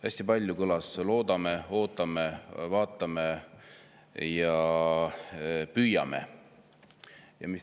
Hästi palju kõlas "loodame", "ootame", "vaatame" ja "püüame".